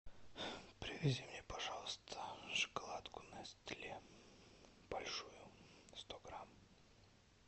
привези мне пожалуйста шоколадку нестле большую сто грамм